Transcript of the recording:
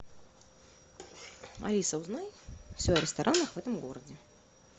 алиса узнай все о ресторанах в этом городе